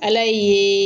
Ala ye